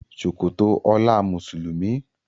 Ṣòkòtò ola Mùsùlùmí.